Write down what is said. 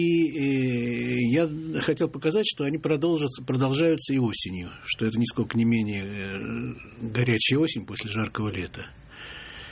и я хотел показать что они продолжаться продолжаются и осенью что это нисколько не менее горячая осень после жаркого лета